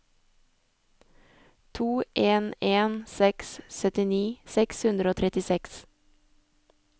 to en en seks syttini seks hundre og trettiseks